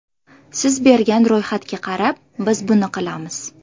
Siz bergan ro‘yxatga qarab biz buni qilamiz.